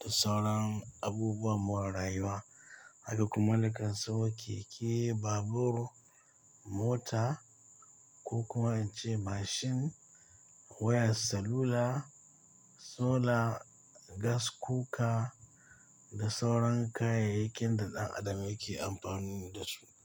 da sauran abubuwan more rayuwa. Haka kuma na kan sayo keke, babur, mota ko kuma in ce mashin, wayar salula, sola, gaskuka da sauran kayayyakin da ɗan adam yake amfani da su.